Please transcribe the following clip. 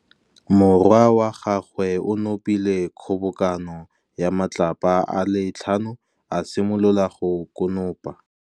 Morwa wa gagwe o nopile kgobokanô ya matlapa a le tlhano, a simolola go konopa.